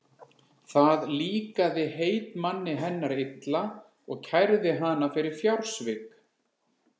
Það líkaði heitmanni hennar illa og kærði hana fyrir fjársvik.